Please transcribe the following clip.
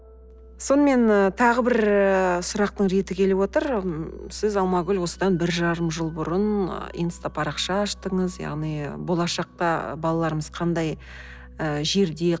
сонымен тағы бір ыыы сұрақтың реті келіп отыр сіз алмагүл осыдан бір жарым жыл бұрын инстапарақша аштыңыз яғни болашақта балаларымыз қандай ы жерде